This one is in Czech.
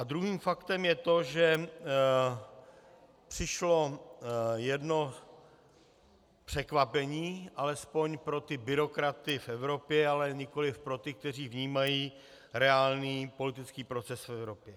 A druhým faktem je to, že přišlo jedno překvapení, alespoň pro ty byrokraty v Evropě, ale nikoliv pro ty, kteří vnímají reálný politický proces v Evropě.